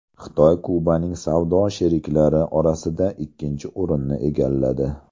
Xitoy Kubaning savdo sheriklari orasida ikkinchi o‘rinni egalladi.